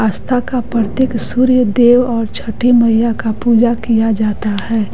आस्था का प्रतीक सूर्य देव और छठी मैया का पूजा किया जाता है।